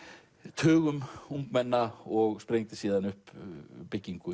tugum ungmenna og sprengdi síðan upp byggingu